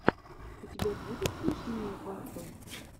у тебя будет смешные батл